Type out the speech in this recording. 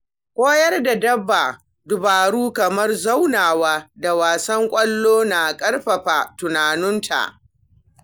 Koyar da dabba dabaru kamar zaunawa da wasan ƙwallo na ƙarfafa tunaninta.